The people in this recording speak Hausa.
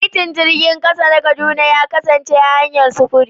Titin jirgin ƙasa na Kaduna ya kasance hanyar sufuri.